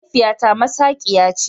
Mahaifiyata masaqiya ce.